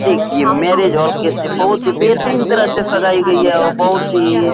देखिये marriage hall कैसे बहुत ही बेहतरीन तरह से सजाई गई है और बहुत ही --